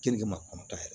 Kenige ma kɔnɔntɔn yɛrɛ